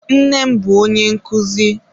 Nne m bụ onye nkụzi.